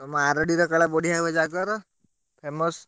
ତମ ଆରଡିରେ କୁଆଡେ ବଢିଆ ହୁଏ ଜାଗର famous ।